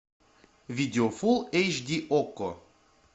видео фулл эйч ди окко